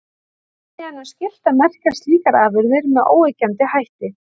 Þannig er nú skylt að merkja slíkar afurðir með óyggjandi hætti.